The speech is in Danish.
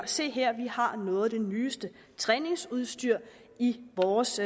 se her vi har noget af det nyeste træningsudstyr i vores